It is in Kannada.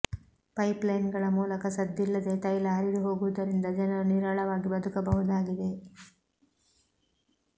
ಪೈಪ್ಲೈನ್ಗಳ ಮೂಲಕ ಸದ್ದಿಲ್ಲದೇ ತೈಲ ಹರಿದು ಹೋಗುವುದರಿಂದ ಜನರು ನಿರಾಳವಾಗಿ ಬದುಕಬಹುದಾಗಿದೆ